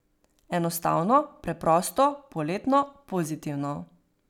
Enostavno, preprosto, poletno, pozitivno.